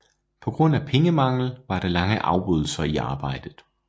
På grund af pengemangel var der lange afbrydelser i arbejdet